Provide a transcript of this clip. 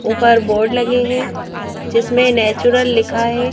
ऊपर बोर्ड लगे हैं जिसमें नेचुरल लिखा है।